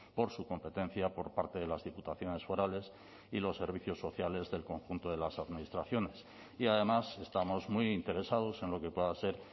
por su competencia por parte de las diputaciones forales y los servicios sociales del conjunto de las administraciones y además estamos muy interesados en lo que pueda ser